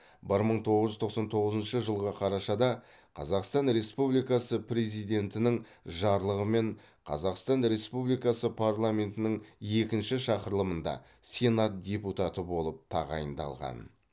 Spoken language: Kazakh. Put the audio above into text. бір мың тоғыз жүз тоқсан тоғызыншы жылғы қарашада қазақстан республикасы президентінің жарлығымен қазақстан республикасы парламентінің екінші шақырылымында сенат депутаты болып тағайындалған